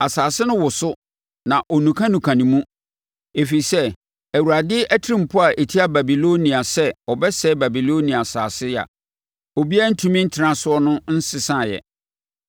Asase no woso, na ɔnukanuka ne mu, ɛfiri sɛ Awurade atirimpɔ a ɛtia Babilonia sɛ ɔbɛsɛe Babilonia asase a obiara rentumi ntena so no nsesaeɛ.